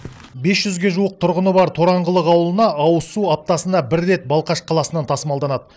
бес жүзге жуық тұрғыны бар тораңғылық ауылына ауызсу аптасына бір рет балқаш қаласынан тасымалданады